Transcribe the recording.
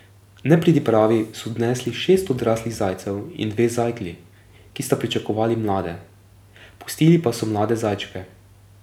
Nepridipravi so odnesli šest odraslih zajcev in dve zajklji, ki sta pričakovali mlade, pustili pa so mlade zajčke.